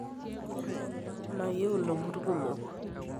mayieu ilomon kumok